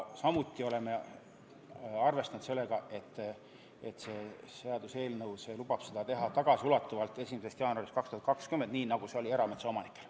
Samuti oleme arvestanud sellega, et seaduseelnõu lubab seda teha tagasiulatuvalt 1. jaanuarist 2020, nii nagu see on võimalik erametsaomanikel.